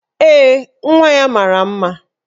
Ee, nwa ya mara mma